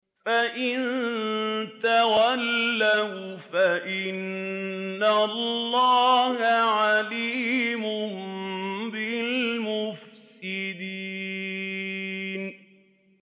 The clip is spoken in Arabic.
فَإِن تَوَلَّوْا فَإِنَّ اللَّهَ عَلِيمٌ بِالْمُفْسِدِينَ